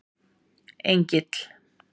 Engill